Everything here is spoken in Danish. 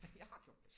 Jeg har gjort det